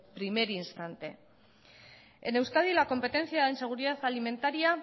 primer instante en euskadi la competencia en seguridad alimentaria